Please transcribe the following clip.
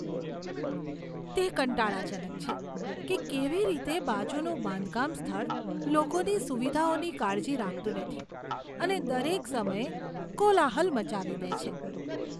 તે કંટાળાજનક છે કે કેવી રીતે બાજુનું બાંધકામ સ્થળ લોકોની સુવિધાઓની કાળજી રાખતું નથી અને દરેક સમયે કોલાહલ મચાવી દે છે.